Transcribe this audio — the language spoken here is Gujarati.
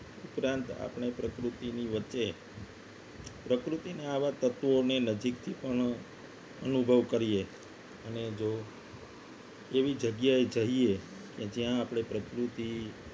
ઉપરાંત આપણે પ્રકૃતિની વચ્ચે પ્રકૃતિના આવા તત્વોને નજીકથી પણ અનુભવ કરીએ અને જો એવી જગ્યાએ જઈએ અને ત્યાં આપણે પ્રકૃતિ